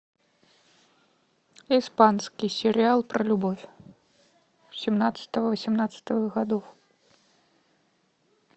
испанский сериал про любовь семнадцатого восемнадцатого годов